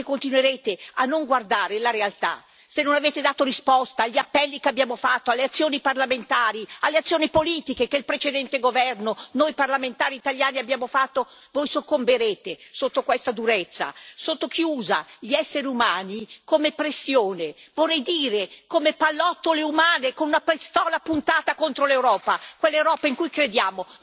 Se continuerete a non guardare la realtà, se non avete dato risposta agli appelli che abbiamo fatto, alle azioni parlamentari, alle azioni politiche che il precedente governo e noi parlamentari italiani abbiamo fatto, voi soccomberete sotto questa durezza, sotto chi usa gli esseri umani come pressione, vorrei dire come pallottole umane, con una pistola puntata contro l'Europa, quell'Europa in cui crediamo.